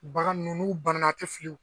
Bagan nunnu n'u banna a tɛ fili